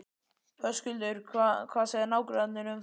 Höskuldur: Hvað segja nágrannarnir um það?